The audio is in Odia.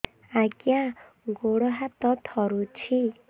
ଆଜ୍ଞା ଗୋଡ଼ ହାତ ଥରୁଛି